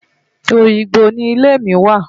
Oyingbo ni ilé mi wà.